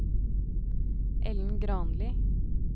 Ellen Granli